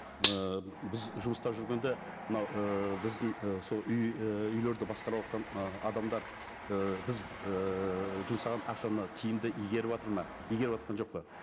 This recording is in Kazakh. ыыы біз жұмыста жүргенде мынау ііі біздің і сол үй і үйлерді басқарыватқан ы адамдар ы біз ыыы жұмсаған ақшаны тиімді игеріватыр ма игеріватқан жоқ па